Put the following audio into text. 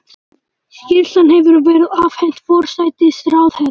Skýrslan hefur verið afhent forsætisráðherra